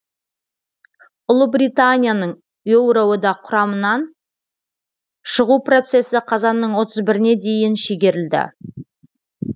ұлыбританияның еуроодақ құрамынан шығу процесі қазанның отыз біріне дейін шегерілді